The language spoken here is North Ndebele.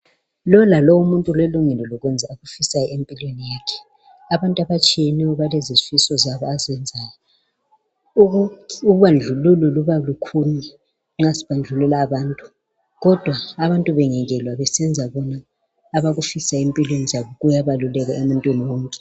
Lowo lalowo umuntu ulelungelo lokwenza akufisayo empilweni yakhe. Abantu abatshiyeneyo balezifiso zabo. Ubandlululo Luba lukhulu nxa sibandlulula abantu kodwa bangekelwa besenza abakufunayo kubalulekile.